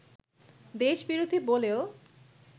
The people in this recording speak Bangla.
দেশ বিরোধী বলেও